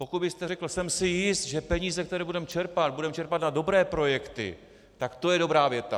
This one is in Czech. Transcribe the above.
Pokud byste řekl "jsem si jist, že peníze, které budeme čerpat, budeme čerpat na dobré projekty", tak to je dobrá věta.